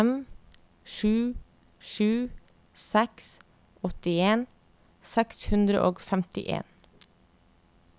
fem sju sju seks åttien seks hundre og femtien